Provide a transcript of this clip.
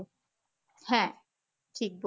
হ্যাঁ ঠিক বল